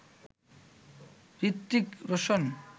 Hrithik Roshan